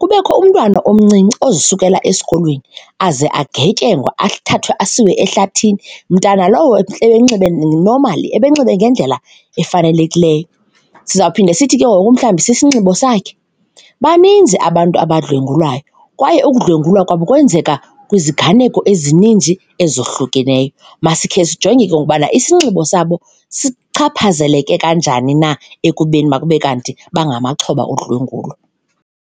Kubekho umntwana omncinci ozisukela esikolweni aze agwetyengwe athathwe asiwe ehlathini, mntana lowo ebenxibe normally, ebenxibe ngendlela efanelekileyo. Sizawuphinde sithi ke ngoku mhlawumbi sisinxibo sakhe? Baninzi abantu abadlwengulwayo kwaye ukudlwengulwa kwabo kwenzeka kwiziganeko ezininzi ezohlukeneyo. Masikhe sijonge ke ngoku ubana isinxibo sabo sichaphazeleke kanjani na ekubeni makube kanti bangamaxhoba odlwengulwa.